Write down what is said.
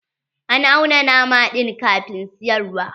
An auna nama ɗin kafin siyarwa.